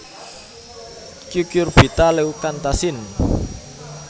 Cucurbita leucantha sin